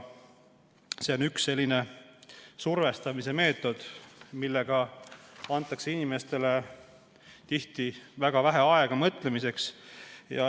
See on üks survestamise meetod, mille korral antakse inimesele väga vähe mõtlemisaega.